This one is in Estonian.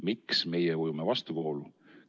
Miks meie ujume vastuvoolu?